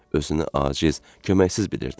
Özünü aciz, köməksiz bilirdi.